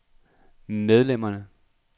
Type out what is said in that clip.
medlemmerne